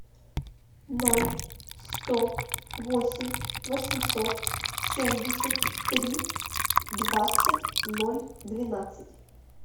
ноль сто восемь восемьсот семьдесят три двадцать ноль двенадцать